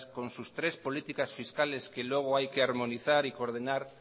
con sus tres políticas fiscales que luego hay que armonizar y coordinar